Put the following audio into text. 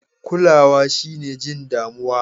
Kulawa shine jin damuwa.